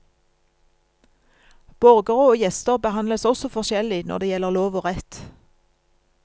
Borgere og gjester behandles også forskjellig når det gjelder lov og rett.